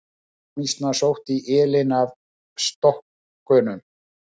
Hagamýsnar sóttu í ylinn af stokkunum.